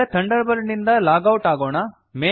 ಇದೀಗ Thunderbird ನಿಂದ log out ಆಗೋಣ